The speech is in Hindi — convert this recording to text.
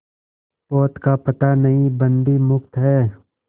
पोत का पता नहीं बंदी मुक्त हैं